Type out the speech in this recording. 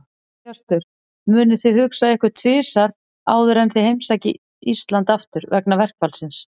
Hjörtur: Munuð þið hugsa ykkur um tvisvar áður en þið heimsækið Íslands aftur, vegna verkfallsins?